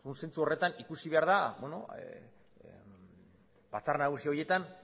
zentzu horretan ikusi behar da batzar nagusi horietan